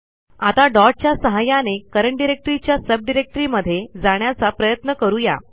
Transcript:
आता डॉट च्या सहाय्याने करंट डायरेक्टरी च्या सबडिरेक्टरीमध्ये जाण्याचा प्रयत्न करू या